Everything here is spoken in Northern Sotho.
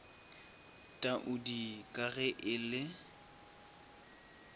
taudi ka ge e le